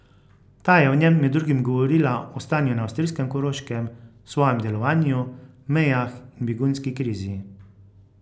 Ta je v njem med drugim govorila o stanju na avstrijskem Koroškem, svojem delovanju, mejah in begunski krizi.